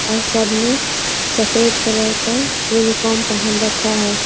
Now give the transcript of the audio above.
और सब ने सफेद कलर का यूनिफार्म पहन रखा है।